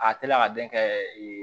A te la ka den kɛ